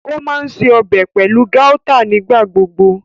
O maa ǹṣe ọbẹ pẹlu gauta nigbagbogbo.